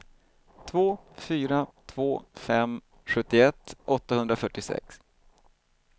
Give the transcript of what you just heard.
två fyra två fem sjuttioett åttahundrafyrtiosex